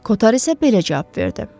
Koter isə belə cavab verdi.